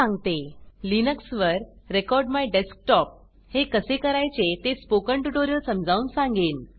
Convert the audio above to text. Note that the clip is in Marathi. लिनक्स वर रेकॉर्डमायडेस्कटॉप रेकॉर्ड माइ डेस्कटॉप हे कसे करायचे ते स्पोकन ट्युटोरियल समजावून सांगेन